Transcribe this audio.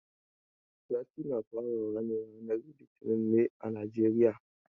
Sati na fara wa ne ranan litinin ne a Najeriya.